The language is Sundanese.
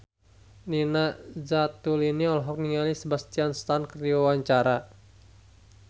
Nina Zatulini olohok ningali Sebastian Stan keur diwawancara